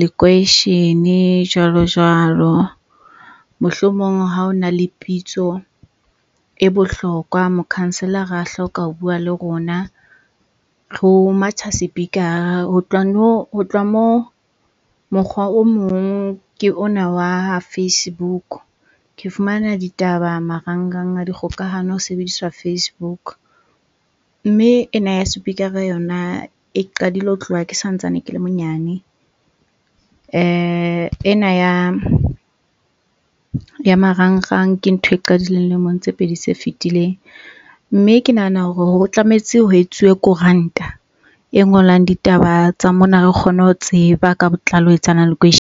lekweishene jwalo jwalo. Mohlomong ha o na le pitso e bohlokwa, mokhanselara a hloka ho bua le rona, ho matjha sepikara. Ho tloha moo, mokgwa o mong ke ona wa ha Facebook. Ke fumana ditaba marangrang a dikgokahano ho sebediswa Facebook. Mme ena ya sepikara yona e qadile ho tloha ke santsane ke le monyane. Ena ya ya marangrang ke ntho e qadileng lemong tse pedi tse fitileng mme ke nahana hore ho tlametse ho etsuwe koranta e ngolang ditaba tsa mona, re kgone ho tseba ka botlalo ho etsahalang .